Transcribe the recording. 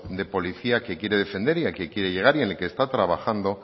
de policía que quiere defender y al que quiere llegar y en el que está trabajando